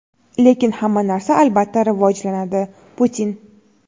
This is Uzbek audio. lekin hamma narsa albatta rivojlanadi – Putin.